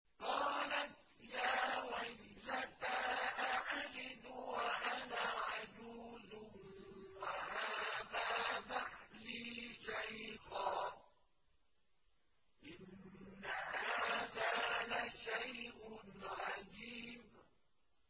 قَالَتْ يَا وَيْلَتَىٰ أَأَلِدُ وَأَنَا عَجُوزٌ وَهَٰذَا بَعْلِي شَيْخًا ۖ إِنَّ هَٰذَا لَشَيْءٌ عَجِيبٌ